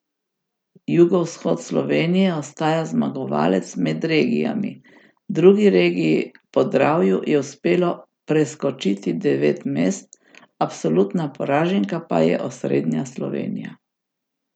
Jugovzhod Slovenije ostaja zmagovalec med regijami, drugi regiji, Podravju, je uspelo preskočiti devet mest, absolutna poraženka pa je osrednja Slovenija.